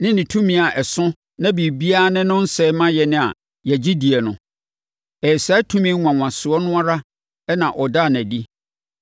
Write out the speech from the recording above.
ne ne tumi a ɛso na biribiara ne no nsɛ ma yɛn a yɛgye die no. Ɛyɛ saa tumi nwanwasoɔ no ara na ɔdaa no adi